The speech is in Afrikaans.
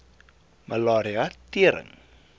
malaria tering